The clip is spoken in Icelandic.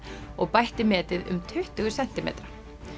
og bætti metið um tuttugu sentimetra